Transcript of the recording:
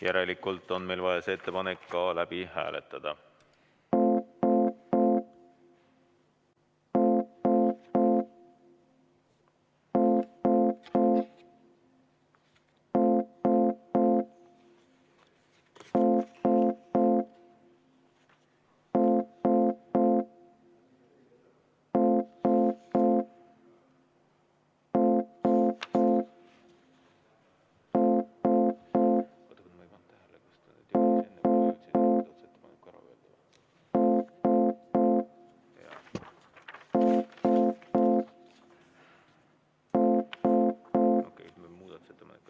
Järelikult on meil vaja see ettepanek ka läbi hääletada.